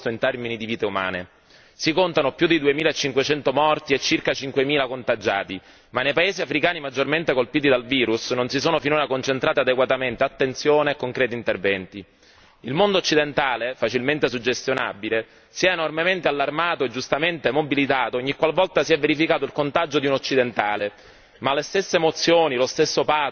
Si contano più di duemilacinquecento morti e circa cinquemila contagiati, ma nei paesi africani maggiormente colpiti dal virus non si sono finora concentrati adeguatamente attenzione e interventi concreti. Il mondo occidentale, facilmente suggestionabile, si è enormemente allarmato e giustamente mobilitato ogniqualvolta si è verificato il contagio di un occidentale, ma le stesse emozioni, lo stesso pathos, la stessa apprensione